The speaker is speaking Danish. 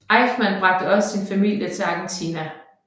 Eichmann bragte også sin familie til Argentina